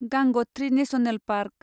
गांग'थ्रि national park